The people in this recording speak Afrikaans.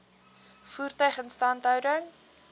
voertuie instandhouding